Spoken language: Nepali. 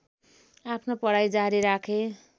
आफ्नो पढाइ जारी राखे